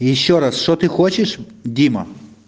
ещё раз что ты хочешь дима